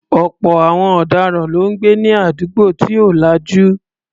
Ọ̀pọ̀ àwọn ọ̀daràn ló ń gbé ní àdúgbò tí ò lajú.